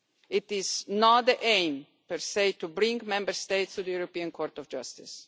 It is not the aim, per se, to bring Member States to the European Court of Justice.